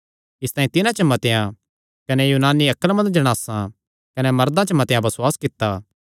इसतांई तिन्हां च मतेआं कने यूनानी अक्लमंद जणासां च कने मर्दां च मतेआं बसुआस कित्ता